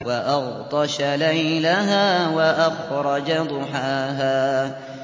وَأَغْطَشَ لَيْلَهَا وَأَخْرَجَ ضُحَاهَا